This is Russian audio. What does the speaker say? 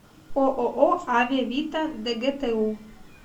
ооо аве вита дгту